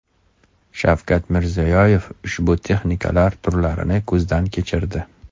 Shavkat Mirziyoyev ushbu texnikalar turlarini ko‘zdan kechirdi.